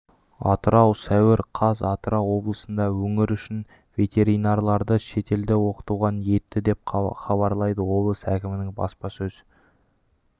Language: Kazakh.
атырау сәуір қаз атырау облысында өңір үшін ветеринарларды шетелде оқытуға ниетті деп хабарлады облыс әкімдігінің баспасөз